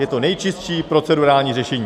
Je to nejčistší procedurální řešení.